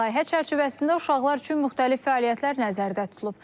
Layihə çərçivəsində uşaqlar üçün müxtəlif fəaliyyətlər nəzərdə tutulub.